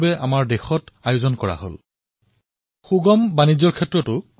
আমাৰ সামুহিক প্ৰয়াসৰ ফলত আমাৰ দেশৰ ইজ অব্ ডুয়িং বিজনেছ সূচাংকত অগ্ৰগতি হৈছে